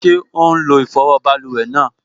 Ṣé ó n lo ìfọwọ́ báluwẹ̀ náà?